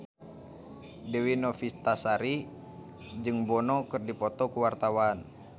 Dewi Novitasari jeung Bono keur dipoto ku wartawan